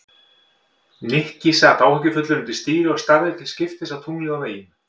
Nikki sat áhyggjufullur undir stýri og starði til skiptist á tunglið og veginn.